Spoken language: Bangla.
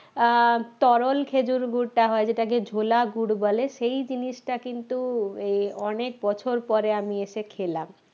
আহ তরল খেজুর গুড়টা হয় যেটাকে ঝোলা গুড় বলে সেই জিনিসটা কিন্তু এই অনেক বছর পরে আমি এসে খেলাম